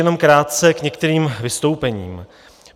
Jenom krátce k některým vystoupením.